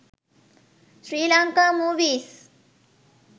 sri lanka movies